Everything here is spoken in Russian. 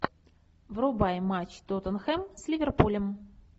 врубай матч тоттенхэм с ливерпулем